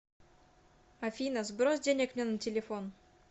афина сбрось денег мне на телефон